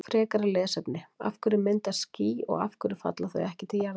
Frekara lesefni: Af hverju myndast ský og af hverju falla þau ekki til jarðar?